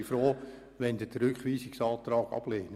Ich bin froh, wenn Sie den Rückweisungsantrag ablehnen.